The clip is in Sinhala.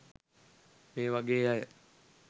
මේ වගේ අය